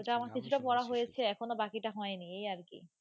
কিছুটা পড়া হয়েছে, এখনও বাকিটা হয়নি এই আর কি.